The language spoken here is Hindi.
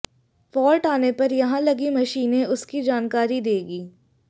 फाल्ट आने पर यहां लगी मशीनें उसकी जानकारी देगी